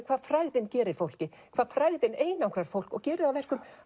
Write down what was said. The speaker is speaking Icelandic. hvað frægðin gerir fólki hvað frægðin einangrar fólk og gerir það verkum